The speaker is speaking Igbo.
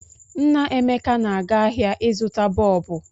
Nne Emeka na-aga ahịa ịzụta bọọbụ.